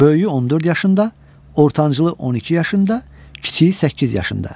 Böyüyü 14 yaşında, ortancılı 12 yaşında, kiçiyi 8 yaşında.